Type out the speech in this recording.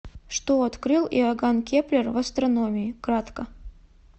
что открыл иоганн кеплер в астрономии кратко